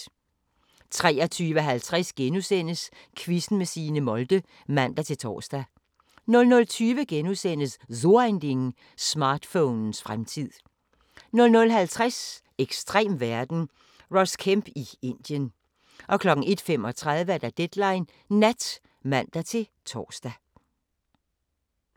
23:50: Quizzen med Signe Molde *(man-tor) 00:20: So Ein Ding: Smartphonens fremtid * 00:50: Ekstrem verden – Ross Kemp i Indien 01:35: Deadline Nat (man-tor)